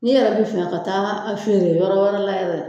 Ni n yɛrɛ bɛ fiɲɛ ka taa a feere yɔrɔ wɛrɛ la yɛrɛ